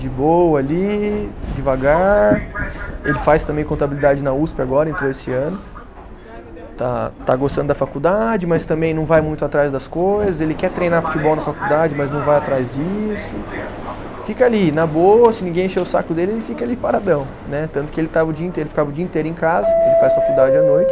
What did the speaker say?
de boa ali, devagar, ele faz também contabilidade na usp agora, entrou esse ano, está está gostando da faculdade, mas também não vai muito atrás das coisas, ele quer treinar futebol na faculdade, mas não vai atrás disso, fica ali, na boa, se ninguém encher o saco dele, ele fica ali paradão, né, tanto que ele estava o dia inteiro, ficava o dia inteiro em casa, ele faz faculdade à noite.